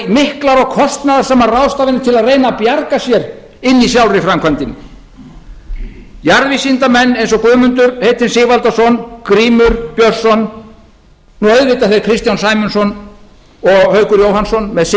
og kostnaðarsamar ráðstafanir til að reyna að bjarga sér inni í sjálfri framkvæmdinni jarðvísindamenn eins og guðmundur heitinn sigvaldason grímur björnsson og auðvitað þeir kristján sæmundsson og haukur jóhannsson með